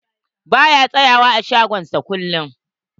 Ba ya tsayawa a shagon sa kullum.